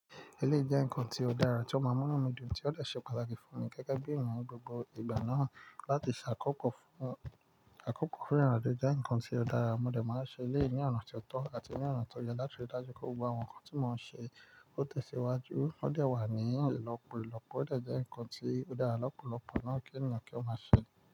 Eleyii jẹ́ nǹkan tí ó dára tí ó máa mú inu mi dùn tí ó dè ṣe pàtàkì fún mi gẹ́gẹ́ bí eeyan ni gbogbo ìgbà náà láti ṣàkọ́kọ́ fún, ṣàkọ́kọ́ fún ìrinajo jẹ́ nǹkan tí ó dára. Mo dẹ̀ máa n ṣe eleyii ní ọ̀nà tí ó tọ́ àti ní ọ̀nà tó yẹ láti rí dájú pé gbogbo àwọn nǹkan tí mo ń ṣe ó tẹ̀síwájú. Ó dẹ̀ wà ní ìlọ́pọ̀ ìlọ́pọ̀, ó dẹ̀ jẹ́ nǹkan tí ó dára lọ́pọ̀lọpọ̀ náà kí ènìyàn kí ó máa ṣe.